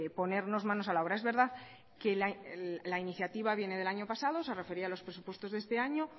ponernos manos a la obra es verdad que la iniciativa viene del año pasado se refería a los presupuestos de este año